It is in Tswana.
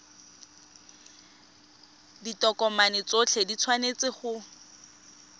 ditokomane tsotlhe di tshwanetse go